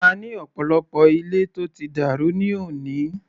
A ní ọ̀pọ̀lọpọ̀ ilé tó ti dàrú ní òní.